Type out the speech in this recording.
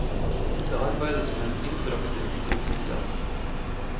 Det arbeides med en interaktiv telefontjeneste.